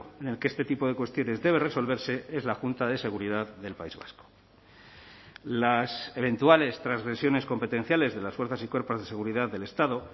en el que este tipo de cuestiones debe resolverse es la junta de seguridad del país vasco las eventuales transgresiones competenciales de las fuerzas y cuerpos de seguridad del estado